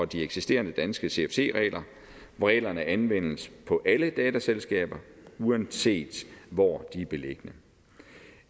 de eksisterende danske cfc regler hvor reglerne anvendes på alle datterselskaber uanset hvor de er beliggende